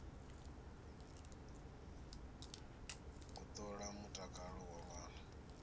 u ṱola mutakalo wa ṅwana